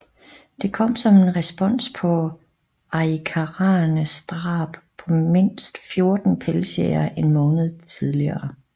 Det kom som en respons på arikaraernes drab på mindst fjorten pelsjægere en måned tidligere